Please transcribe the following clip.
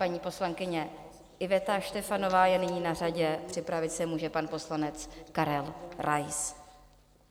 Paní poslankyně Iveta Štefanová je nyní na řadě, připravit se může pan poslanec Karel Rais.